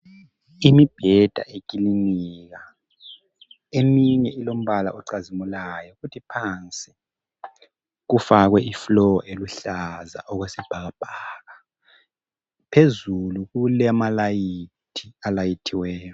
Imibheda eklinika eminye ilombala ecazimulayo kuthi phansi kufakwe I floor eluhlaza okwesibhakabhaka phezulu kulama layithi alayithiweyo.